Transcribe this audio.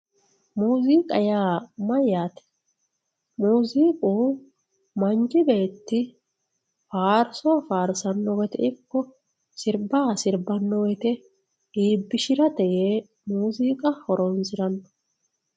Muuziqa yaa mayyaate muuziqu manchi beeti faarso faarsono wooyitte iko sirbba sibano wooyitte ibishiratte yee muuziqa horonsiranno